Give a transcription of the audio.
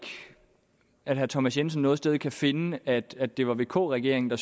at herre thomas jensen noget sted kan finde at at det var vk regeringen der